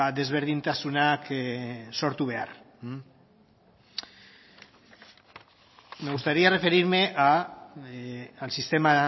desberdintasunak sortu behar me gustaría referirme al sistema